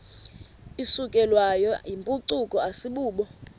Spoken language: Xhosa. isukelwayo yimpucuko asibubo